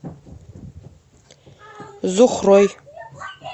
зухрой